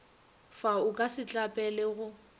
fa o ke setlapele go